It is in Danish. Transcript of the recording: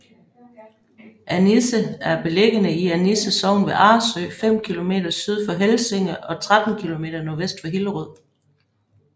Annisse er beliggende i Annisse Sogn ved Arresø fem kilometer syd for Helsinge og 13 kilometer nordvest for Hillerød